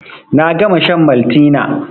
Na gama shan Maltina